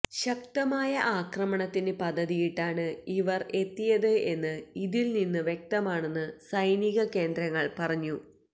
ശക്തമായ ആക്രമണത്തിന് പദ്ധതിയിട്ടാണ് ഇവര് എത്തിയത് എന്ന് ഇതില് നിന്ന് വ്യക്തമാണെന്ന് സൈനിക കേന്ദ്രങ്ങള് പറഞ്ഞു